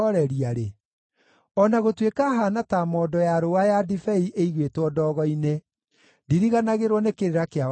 O na gũtuĩka haana ta mondo ya rũũa ya ndibei ĩigĩtwo ndogo-inĩ, ndiriganagĩrwo nĩ kĩrĩra kĩa watho waku.